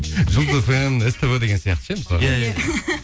жұлдыз фм ств деген сияқты ше мысалы иә иә